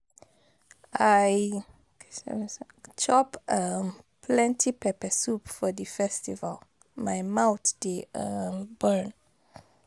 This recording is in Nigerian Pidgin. I chop um plenty pepper soup for di festival, my mouth dey um burn.